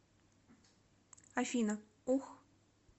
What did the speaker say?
афина ух